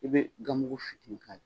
I bɛ gamugu fitinin k'ala.